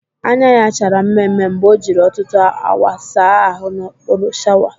Anya ya chara mme mme mgbe o jiri ọtụtụ awa saa ahụ n'okpuru shawa